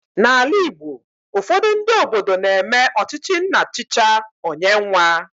N'ala Igbo, ufodu ndị obodo na eme ọchịchị nna chicha, ọ nye nwa